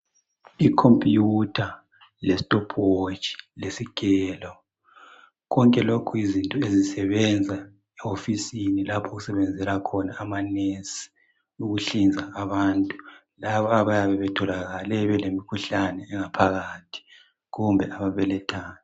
Icomputer le stopwatch lesigelo konke lokhu yizinto ezisebenza ehofisini lapho okusebenza khona omongikazi ukuhlinza abantu laba abayabe betholakale belemkhuhlane engaphakathi kumbe ababelathayo